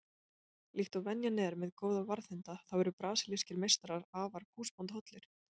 Líkt og venjan er með góða varðhunda þá eru brasilískir meistarar afar húsbóndahollir.